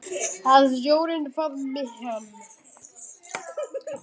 Að sjórinn faðmi hana.